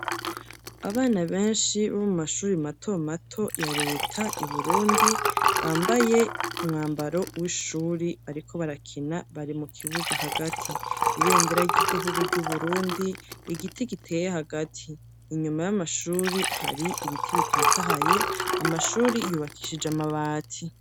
Abana benshi bo mu mashuri mato mato ya leta i Burundi bambaye umwambaro w'ishuri bariko barakina bari mu kibuga hagati. Ibendera ry'igihugu ry' Uburundi, igiti giteye hagati, inyuma y'amashuri hari ibiti bitotahaye, amashuri yubakishije amabati.